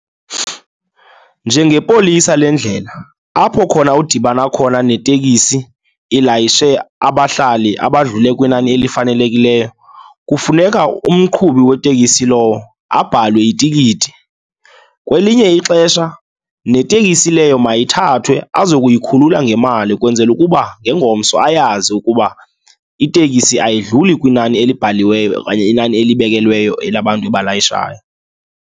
Njengepolisa lendlela apho khona udibana khona netekisi ilayishe abahlali abadlule kwinani elifanelekileyo, kufuneka umqhubi wetekisi lowo abhalwe itikiti. Kwelinye ixesha netekisi leyo mayithathwe azokuyikhulula ngemali ukwenzela ukuba ngengomso ayazi ukuba itekisi ayidluli kwinani elibhaliweyo okanye inani elibekelweyo elabantu ebalayishayo.